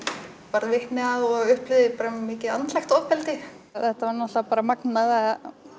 varð vitni að og upplifði mikið andlegt ofbeldi þetta var náttúrulega bara magnað að